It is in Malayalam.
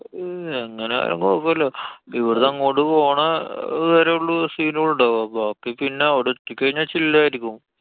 ഹും എങ്ങനായാലും കൊഴപ്പല്ല്യാ. ഇവിടുന്നങ്ങോട്ട്‌ പോണ വരേ ഉള്ളൂ scene ഉണ്ടാവാ. ബാക്കി പിന്നെ അവടെത്തി കഴിഞ്ഞാ chill ആയിരിക്കും.